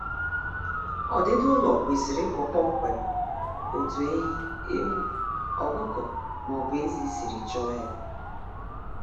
Ọdịdi ụlọ kwesịrị ịbụ kpọmkwem otu ehi, ewu, ọkụkọ maọbụ ezi siri chọọ ya